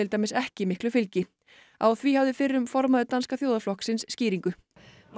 dæmis ekki miklu fylgi á því hafði fyrrum formaður danska þjóðarflokksins skýringu og